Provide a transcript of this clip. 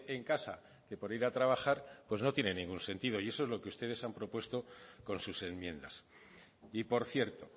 en casa que por ir a trabajar pues no tiene ningún sentido y eso es lo que ustedes han propuesto con sus enmiendas y por cierto